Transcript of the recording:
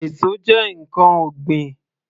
Èso jẹ́ ǹkan ọ̀gbìn